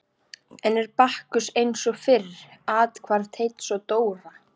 Enn er Bakkus eins og fyrr athvarf Teits og Dóra.